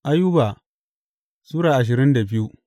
Ayuba Sura ashirin da biyu